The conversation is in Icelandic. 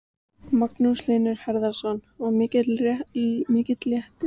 Magnús Hlynur Hreiðarsson: Og mikill léttir á öllum?